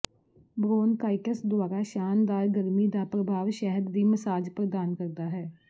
bronchitis ਦੁਆਰਾ ਸ਼ਾਨਦਾਰ ਗਰਮੀ ਦਾ ਪ੍ਰਭਾਵ ਸ਼ਹਿਦ ਦੀ ਮਸਾਜ ਪ੍ਰਦਾਨ ਕਰਦਾ ਹੈ